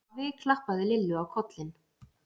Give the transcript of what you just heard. Afi klappaði Lillu á kollinn.